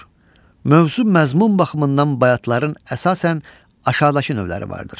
Mövzu məzmun baxımından bayatların əsasən aşağıdakı növləri vardır.